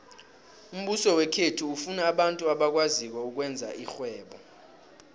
umbuso wekhethu ufuna abantu abakwaziko ukwenza irhwebo